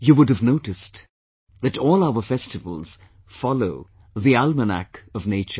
You would have noticed, that all our festivals follow the almanac of nature